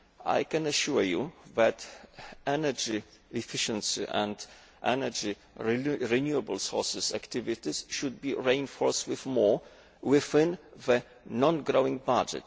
I can assure you that energy efficiency and energy renewable sources activities should be reinforced with more resources within the non growing budget.